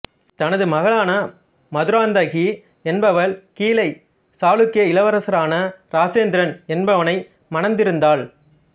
தனது மகளான மதுராந்தகி என்பவள் கீழை சாளுக்கிய இளவரசனான இராசேந்திரன் என்பவனை மணந்திருந்தாள்